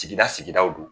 Sigida sigidaw do